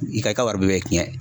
I ka i ka wari bɛɛ bɛ ciyɛn.